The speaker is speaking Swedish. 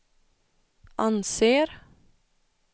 anser